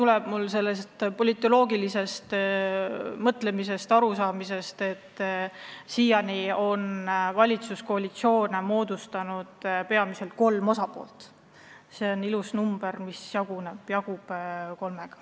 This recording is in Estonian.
See arv lähtub politoloogilisest kaalutlusest: valitsuskoalitsioone on seni moodustanud peamiselt kolm osapoolt ja 12 on ilus number, mis jagub kolmega.